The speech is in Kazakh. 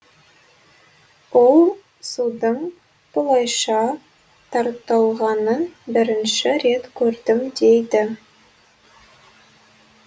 ол судың бұлайша тартылғанын бірінші рет көрдім дейді